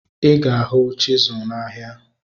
Ịga ahu chisụl na ahia